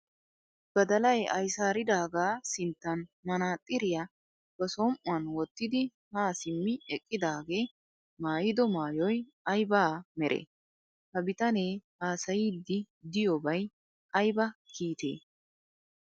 Badalay ayisaaridaagaa sinttan manaaxxiriya ba som'uwan wottidi haa simmi eqqidaagee mayyido mayyoy ayiba meree? Ha bitanee haasayiiddi diyoobay ayiba kiitee?